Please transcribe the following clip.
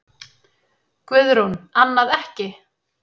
Guðrún: Annað ekki?